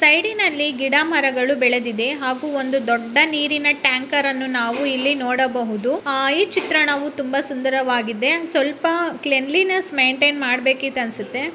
ಸೈಡಿ ನಲ್ಲಿ ಗಿಡಮರಗಳು ಬೆಳೆದಿದೆ ಹಾಗೂ ಒಂದು ದೊಡ್ಡ ನೀರಿನ ಟ್ಯಾಂಕ ರನ್ನು ನಾವು ಇಲ್ಲಿ ನೋಡಬಹುದು ಈ ಚಿತ್ರಣವು ತುಂಬಾ ಸುಂದರವಾಗಿದೆ ಸ್ವಲ್ಪ ಕ್ಲಿನ್ಲಿನೆಸ್ಸ ಮೇನ್ಟೇನ್ ಮಾಡ ಕಿತ್ತು ಅನ್ಸುತ್ತೆ.